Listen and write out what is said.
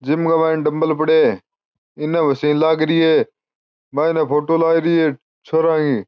जिम के मायने डम्मल पड़या है इने ओ सेल लाग रही है मायने फोटो लाग रही है छोरा की।